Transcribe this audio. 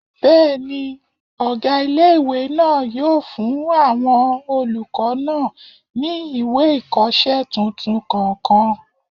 Bẹ́ẹ̀ni, ọgá ilé-ìwé náà yóò fún àwọn olùkọ́ náà ní ìwé ìkọsẹ́ tuntun kọ̀ọ̀kan